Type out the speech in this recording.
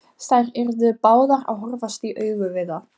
Þær yrðu báðar að horfast í augu við það.